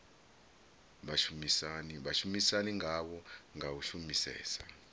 vhashumisani ngavho nga u shumisesa